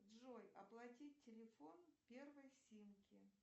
джой оплатить телефон первой симки